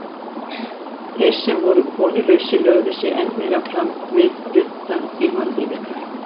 Þeir sem voru konulausir lögðu sig enn meira fram við suddann í mannlífinu.